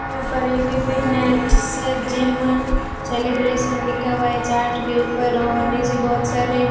यहां पर एक ही फिटनेट्स जिम सेलिब्रेशन लिखा हुआ है चार्ट के ऊपर और नीचे बहोत सारे --